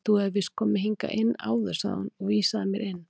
Þú hefur víst komið hingað inn áður sagði hún og vísaði mér inn.